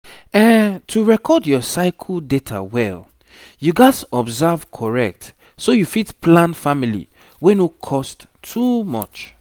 to record your cycle data well you gats observe corect so you fit plan family wey no cost too much